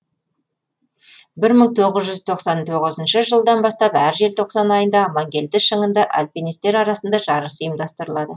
бір мың тоғыз жүз тоқсан тоғызыншы жылдан бастап әр желтоқсан айында амангелді шыңында альпинистер арасында жарыс ұйымдастырылады